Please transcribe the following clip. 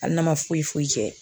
Hali n'a ma foyi foyi kɛ